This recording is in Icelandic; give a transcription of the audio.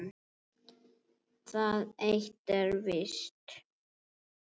Það eitt er víst.